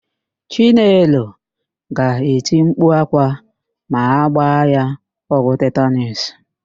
Chinelo ga-eti mkpu ákwá ma a gbaa ya ọgwụ tetanuus.